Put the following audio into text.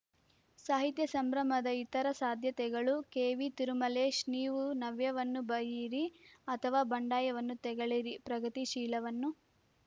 ಸಾಹಿತ್ಯ ಸಂಭ್ರಮದ ಇತರ ಸಾಧ್ಯತೆಗಳು ಕೆವಿ ತಿರುಮಲೇಶ್‌ ನೀವು ನವ್ಯವನ್ನು ಬಯ್ಯಿರಿ ಅಥವಾ ಬಂಡಾಯವನ್ನು ತೆಗಳಿರಿ ಪ್ರಗತಿಶೀಲವನ್ನು